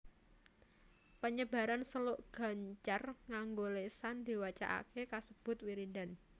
Panyebaran suluk gancar nganggo lésan diwacakaké kasebut wiridan